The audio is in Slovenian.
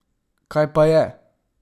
Kaj pa je?